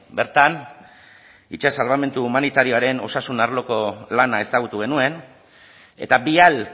bertan itsas salbamendu humanitarioaren osasun arloko lana ezagutu genuen eta vial